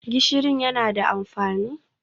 Gishirin yana da amfani?